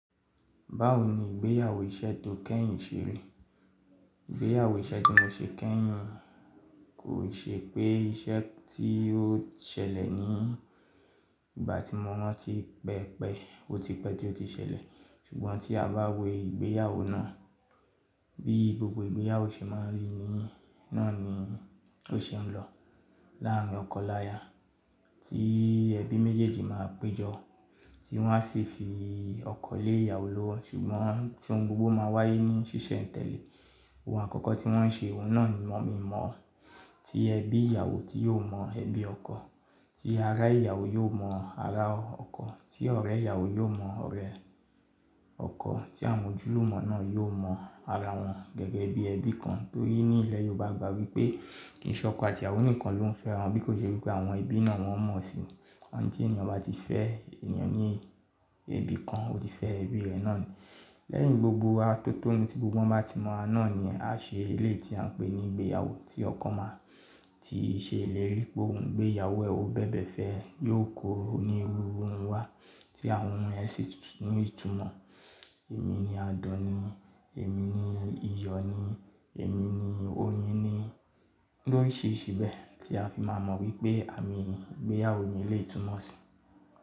Báwo ni ìgbéyàwó iṣẹ́ tó kẹ́yìn ṣe rí? Ìgbéyàwó iṣẹ́ tí mo ṣe kẹ́yìn kò ṣe pé iṣẹ́ tí ó ṣẹlẹ̀ ní ìgbà tí mo rán tí pẹ́ẹ́pẹ́, ó ti pẹ́ tí ó ti ṣẹlẹ̀. Ṣùgbọ́n tí a bá wo ìgbéyàwó náà bí gbogbo ìgbéyàwó ṣe máa ń rí ni, náà ni ó ṣe ń lọ. Láàárín ọkọ láya tí ẹbí méjèèjì máa péjọ, tí wọ́n á sì fi ọkọ lé ìyàwó lọ́wọ́. Ṣùgbọ́n tí ohun gbogbo máa wáyé ní ṣíṣẹ̀ńtẹ̀lẹ̀. Ohun àkọ́kọ́ tí wọ́n ń ṣe, òhun náà ni mọ̀ mi mọ̀ ọ́. Tí ẹbí ìyàwó tí yó mọ ẹbí ọkọ, tí ará ìyàwó yó mọ ará ọkọ, tí ọ̀rẹ́ ìyàwó yó mọ ọ̀rẹ́ ọkọ, tí àmójúlùmọ́ náà yó mọ ara wọn gẹ́gẹ́ bí ẹbí kan. Torí ní ilẹ̀ Yorùbá agbà wípé kí nìkan ọkọ àti ìyàwó nìkan ló ń fẹ́ wọn, bí kò ṣe wípé àwọn ẹbí náà wọn mọ̀ sí i. Wóní ti èèyàn bá ti fẹ́ ènìyàn ní ibi kan, ó ti fẹ́ ẹbí rẹ̀ náà ni. Lẹ́yìn gbogbo atótónu tí gbogbo wọn bá ti mọ̀ náà ni á ṣe ilé tí à ń pè ní ìgbéyàwó. Tí ọkọ máa ti ṣe ìlérí òhun gbé ìyàwó ẹ, òhún bẹ̀bẹ̀ fẹ̀, yóò koro ní oru òhun wá tí àwọn ẹbí sì ní ìtumọ̀. Èmi ni adàn ni, èmi ni iyọ̀ ni, èmi ni oyin ni, lóyìí sìbẹ̀ tí a fi máa mọ wípé àmì ìgbéyàwó ni eléyìí túmọ̀ sí.